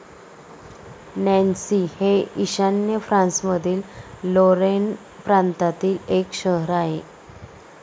Nancy हे ईशान्य फ्रान्समधील लॉरेन प्रांतातील एक शहर आहे.